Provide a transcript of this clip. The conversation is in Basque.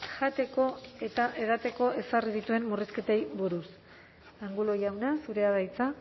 jateko eta edateko ezarri dituen murrizketei buruz angulo jauna zurea da hitza